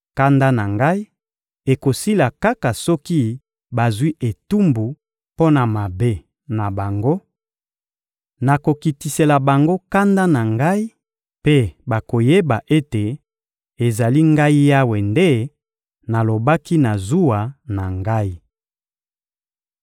Kanda na Ngai ekosila kaka soki bazwi etumbu mpo na mabe na bango; nakokitisela bango kanda na Ngai mpe bakoyeba ete ezali Ngai Yawe nde nalobaki na zuwa na Ngai.